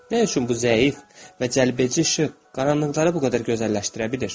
Nə üçün bu zəif və cəlbedici işıq qaranlıqları bu qədər gözəlləşdirə bilir?